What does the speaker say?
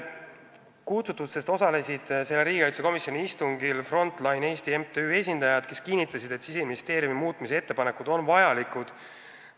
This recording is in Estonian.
Kutsututest osalesid riigikaitsekomisjoni istungil Front Line Eesti MTÜ esindajad, kes kinnitasid, et Siseministeeriumi muudatusettepanekud on vajalikud.